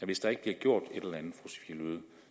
hvis der ikke bliver gjort et eller andet